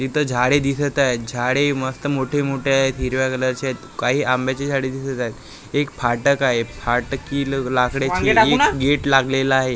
इथं झाडे दिसत आहेत झाडे मस्त मोठे मोठे आहेत हिरव्या कलरचे आहेत काही आंब्याचे झाडे दिसत आहेत एक फाटक आहे फाटकी ल लाकड्याची एक गेट लागलेला आहे.